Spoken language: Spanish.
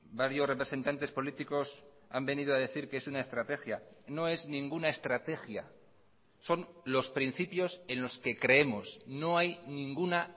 varios representantes políticos han venido a decir que es una estrategia no es ninguna estrategia son los principios en los que creemos no hay ninguna